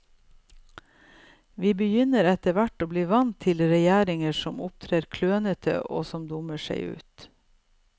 Vi begynner etterhvert å bli vant til regjeringer som opptrer klønete, og som dummer seg ut.